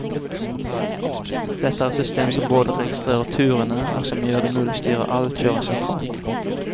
Dette er et system som både registrerer turene, og som gjør det mulig å styre all kjøringen sentralt.